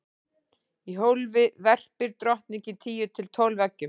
í hólfið verpir drottningin tíu til tólf eggjum